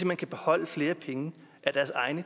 kan beholde flere af deres egne